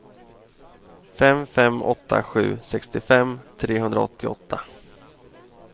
fem fem åtta sju sextiofem trehundraåttioåtta